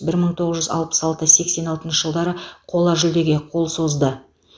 бір мың тоғыз жүз алпыс алты сексен алтыншы жылдары қола жүлдеге қол созды